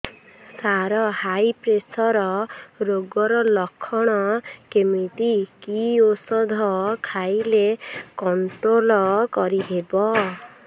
ସାର high pressure ରୋଗର ଲଖଣ କେମିତି କି ଓଷଧ ଖାଇଲେ କଂଟ୍ରୋଲ କରିହେବ